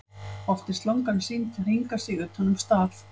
oft er slangan sýnd hringa sig utan um staf